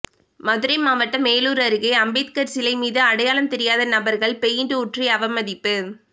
மதுரை மாவட்டம் மேலூர் அருகே அம்பேத்கர் சிலை மீது அடையாளம் தெரியாத நபர்கள் பெயிண்ட் ஊற்றி அவமதிப்பு